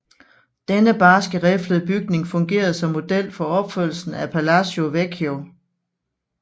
Denne barske riflede bygning fungerede som model for opførelsen af Palazzo Vecchio